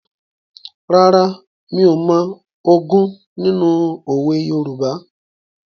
Rárá, mi ò mọ ogún nínú òwe Yorùbá.